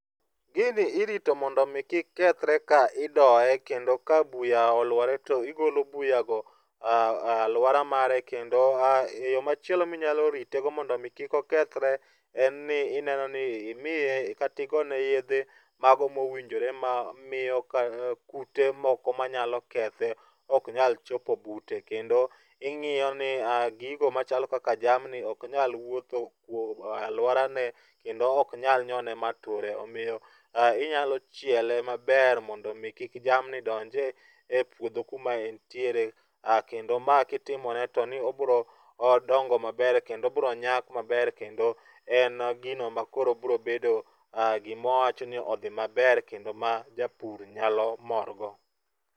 Gini irito mondo omi kik kethre ka idoye kendo ka buya olwore to igolo buyago ,alwora mare kendo yo machielo minyalo ritego mondo omi kik okethre en ni ineno ni imiye kata igone yedhe mago mowinjore ma miyo kute moko manyalo kethe ok nyal chopo bute ,kendo ing'iyo ni gigo machalo kaka jamni ok nyal wuotho alworane kendo ok nyal nyone mature. Omiyo inyalo chiele maber mondo omi kik jamni donjie e puodho kuma entiere. Kendo ma kitimone to ni obiro dongo maber kendo obro nyak maber, kendo en gino ma koro brobedo gima wawacho ni odhi maber kendo ma japur nyalo morgo.